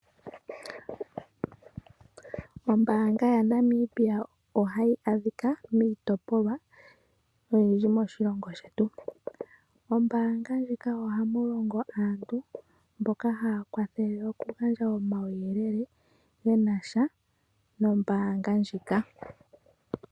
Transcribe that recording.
Ombaanga yaNamibia ohayi adhika miitopolwa oyindji moshilongo shetu. Ombaanga ndjika ohamu longa aantu mboka haya kwa thele oku gandja omauyelele ge nasha nombaanga ndjika.